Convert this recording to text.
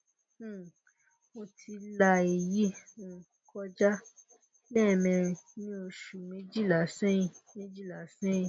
um mo ti la èyí um kọjá lẹ́ẹ̀mẹrin ní oṣù méjìlá sẹ́yìn méjìlá sẹ́yìn